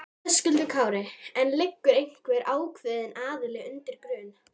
Höskuldur Kári: En liggur einhver ákveðin aðili undir grun?